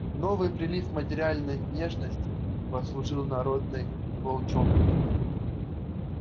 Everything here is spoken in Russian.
новый прилив материальной нежности послужил народной волчонку